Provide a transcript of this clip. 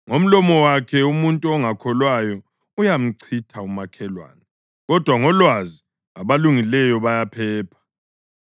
Ngomlomo wakhe umuntu ongakholwayo uyamchitha umakhelwane, kodwa ngolwazi abalungileyo bayaphepha.